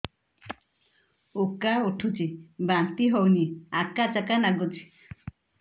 ଉକା ଉଠୁଚି ବାନ୍ତି ହଉନି ଆକାଚାକା ନାଗୁଚି